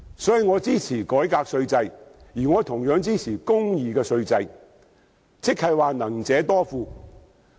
因此，我支持改革稅制，同樣支持公義的稅制，即能者多付。